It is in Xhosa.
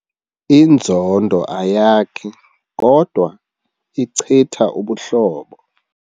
Inzondo ayakhi kodwa ichitha ubuhlobo.